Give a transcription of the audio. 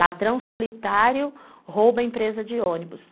Ladrão solitário rouba empresa de ônibus.